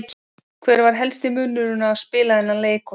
Hver var helsti munurinn á að spila þennan leik og þá?